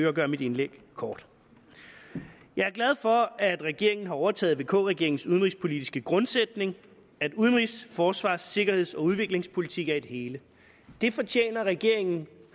at gøre mit indlæg kort jeg er glad for at regeringen har overtaget vk regeringens udenrigspolitiske grundsætning at udenrigs forsvars sikkerheds og udviklingspolitik er et hele det fortjener regeringen